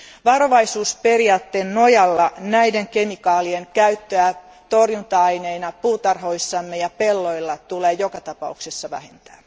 Varovaisuusperiaatteen nojalla näiden kemikaalien käyttöä torjunta aineina puutarhoissamme ja pelloilla tulee joka tapauksessa vähentää.